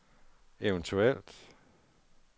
eventuelt